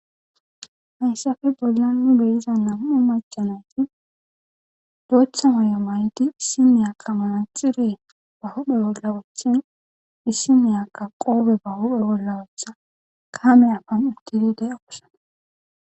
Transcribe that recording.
Hayappe bollan de'iza nam'u maca nayti bnotha mayo mayid issi nayaka manaxire ba huphe bolla wothin issi nayaka qobe ba huphe bolla wothada kame awan utid de'osona